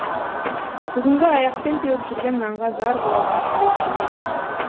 бүгінгі аяқпен теуіп жүрген нанға зар болатын күндер келеді